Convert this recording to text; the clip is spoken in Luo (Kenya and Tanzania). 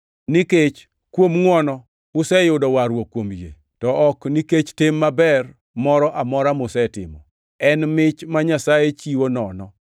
Nikech kuom ngʼwono, useyudo warruok kuom yie, to ok nikech tim maber moro amora musetimo. En mich ma Nyasaye chiwo nono,